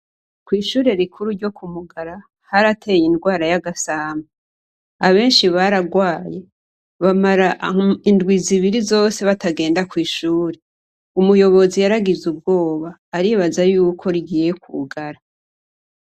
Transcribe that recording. Kw'ishuri rikuru ryo ku mugara harateye indwara y'agasamba abenshi baragwaye bamara indwi zibiri zose batagenda kw'ishuri umuyobozi yaragize ubwoba aribaza yuko rigiye kugara.